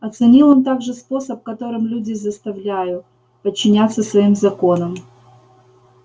оценил он также способ которым люди заставляю подчиняться своим законам